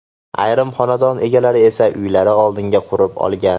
Ayrim xonadon egalari esa uylari oldiga qurib olgan.